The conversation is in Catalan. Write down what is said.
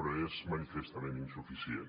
però és manifestament insuficient